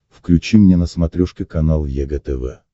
включи мне на смотрешке канал егэ тв